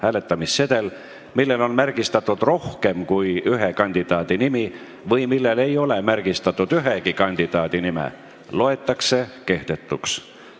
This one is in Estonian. Hääletamissedel, millel on märgistatud rohkem kui ühe kandidaadi nimi või millel ei ole märgistatud ühegi kandidaadi nime, loetakse kehtetuks.